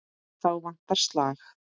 Þá vantar slag.